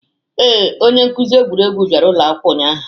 Ee, onye nkuzi egwuregwu bịara ụlọ akwụkwọ ụnyahụ.